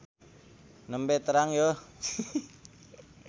Nembe terang yeuh.